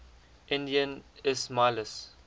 indian ismailis